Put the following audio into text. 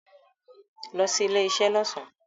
Lo sí ilé isé lọ́sàn